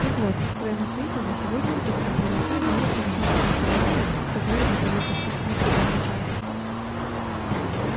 так вот к твоему сведению сегодня утром к нам прилетел гарри в том же самом автомобиле который для полётов не предназначался